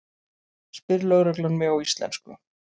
spyr lögreglan mig á íslensku.